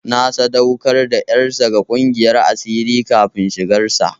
Na sadaukar da ƴarsa ga ƙungiyar asirin kafin shigar sa.